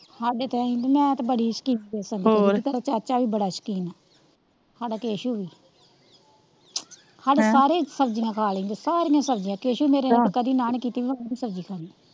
ਸਾਡੇ ਤਾਂ ਮੈ ਤਾਂ ਬੜੀ ਸ਼ੱਕੀਨ ਏ ਬੈਸਣ ਦੀ ਕੜੀ ਦੀ, ਚਾਚਾ ਵੀ ਬੜਾ ਸ਼ੱਕੀਨ ਏ, ਸਾਡਾ ਕੇਛੂ ਵੀ, ਸਾਡੇ ਸਾਰੇ ਸਬਜੀਆ ਖਾ ਲੈਂਦੇ ਸਾਰਿਆ ਸਬਜੀਆ ਕੇਛੂ ਮੇਰੇ ਨੇ ਕਦੀ ਨਾਂ ਨੀ ਕੀਤੀ ਭਈ ਮੈ ਕੇਡੀ ਸਬਜੀ ਖਾਣੀ,